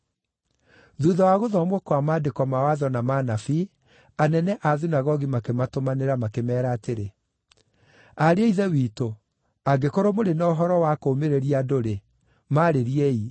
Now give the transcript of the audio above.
Thuutha wa gũthomwo kwa Maandĩko ma Watho na ma Anabii, anene a thunagogi makĩmatũmanĩra makĩmeera atĩrĩ; “Ariũ a Ithe witũ, angĩkorwo mũrĩ na ũhoro wa kũũmĩrĩria andũ-rĩ, maarĩriei.”